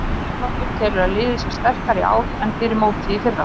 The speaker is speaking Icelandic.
Þorvaldur telur að liðið sé sterkara í ár en fyrir mótið í fyrra.